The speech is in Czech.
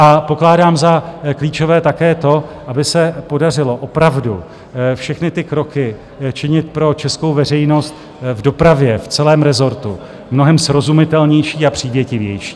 A pokládám za klíčové také to, aby se podařilo opravdu všechny ty kroky činit pro českou veřejnost v dopravě v celém rezortu mnohem srozumitelnější a přívětivější.